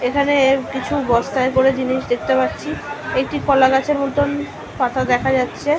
এখানে কিছু বস্তায় করে জিনিস দেখতে পাচ্ছি এটি কলা গাছের মতোন পাতা দেখা যাচ্ছে।